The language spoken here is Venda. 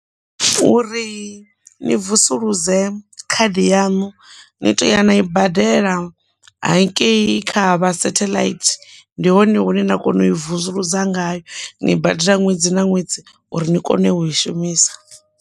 Uri ni vusuludze khadi yaṋu ni to ya na i badela hangei kha vha satellite ndi hone hune na kona u i vusuludza ngayo, ni badela ṅwedzi na ṅwedzi uri ni kone u i shumisa.